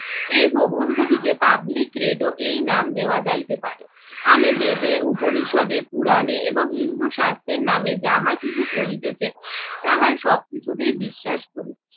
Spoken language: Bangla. এই প্রবন্ধটিকে public redo এই নাম দেওয়া যাইতে পারে। আমি বেদে উপনিষদে পুরাণে এবং হিন্দু শাস্ত্রের নামে যাহা কিছু চলিতেছে তাহার সবকিছুতেই বিশ্বাস করি।